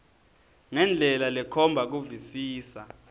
ngendlela lekhomba kuvisisa